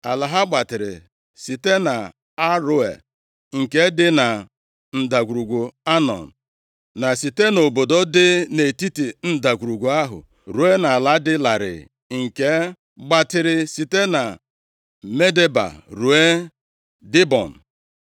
Ala ha gbatịrị site nʼAroea nke dị na ndagwurugwu Anọn, na site nʼobodo dị nʼetiti ndagwurugwu ahụ, ruo nʼala dị larịị nke gbatịrị site na Medeba ruo Dibọn.